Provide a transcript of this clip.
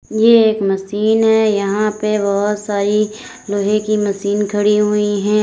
ये एक मशीन है यहां पे बहुत सारी लोहे की मशीन खड़ी हुई है।